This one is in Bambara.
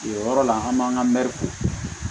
O yɔrɔ la an b'an ka mɛri ko